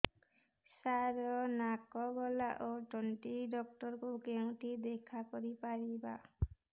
ସାର ନାକ ଗଳା ଓ ତଣ୍ଟି ଡକ୍ଟର ଙ୍କୁ କେଉଁଠି ଦେଖା କରିପାରିବା